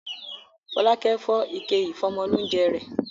Fọlákẹ́ fọ́ ike ìfọ́mọlóúńjẹ rẹ̀.